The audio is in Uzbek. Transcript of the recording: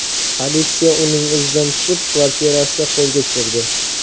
Politsiya uning izidan tushib, kvartirasida qo‘lga tushirdi.